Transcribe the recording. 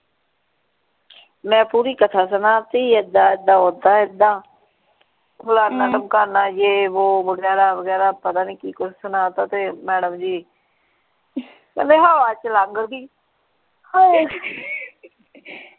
ਮੈਂ ਪੂਰੀ ਕਥਾ ਸੁਣਾਤੀ ਏਦਾਂ ਏਦਾਂ ਓਦਾਂ ਏਦਾਂ ਫਲਾਣਾ ਧਮਕਾਣਾ ਯੇਹ ਵੋ ਵਗੈਰਾ ਵਗੈਰਾ ਪਤਾ ਨਹੀਂ ਕਿ ਕੁਛ ਸੁਣਾ ਦਿਤਾ ਤੇ madam ਜੀ ਕਹਿੰਦੀ ਹਵਾ ਚ ਲੰਘ ਗਈ